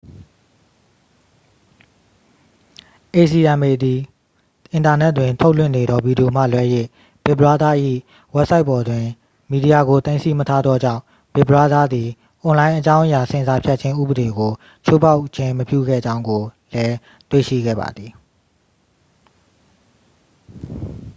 acma သည် အင်တာနက်တွင်ထုတ်လွှင့်နေသောဗီဒီယိုမှလွဲ၍ big brother ၏ဝဘ်ဆိုက်ပေါ်တွင် မီဒီယာကို သိမ်းဆည်းမထားသောကြောင့် big brother သည် အွန်လိုင်းအကြောင်းအရာဆင်ဆာဖြတ်ခြင်းဥပဒေကို ချိုးဖောက်ခြင်းမပြုခဲ့ကြောင်းကိုလည်း တွေ့ရှိခဲ့ပါသည်